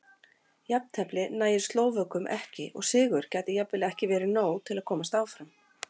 Jafntefli nægir Slóvökum ekki og sigur gæti jafnvel ekki verið nóg til að komast áfram.